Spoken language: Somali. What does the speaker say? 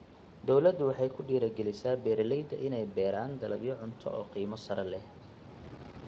Dawladdu waxay ku dhiirigelisaa beeralayda inay beeraan dalagyo cunto oo qiimo sare leh.